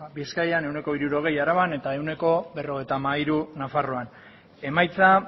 bizkaian ehuneko hirurogei araban eta ehuneko berrogeita hamairu nafarroan emaitza